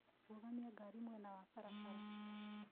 Rũgamia ngari mwena wa barabara